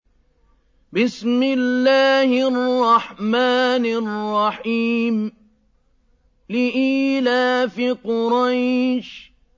لِإِيلَافِ قُرَيْشٍ